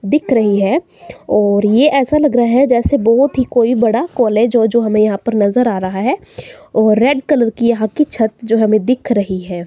दिख रही है और ये ऐसा लग रहा है जैसे बहोत ही कोई बड़ा कॉलेज हो जो हमें यहां पर नजर आ रहा है और रेड कलर की यहां की छत जो हमें दिख रही है।